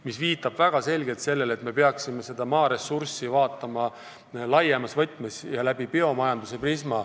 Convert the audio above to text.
See viitab väga selgelt sellele, et me peaksime seda maaressurssi vaatama laiemas võtmes ja läbi biomajanduse prisma.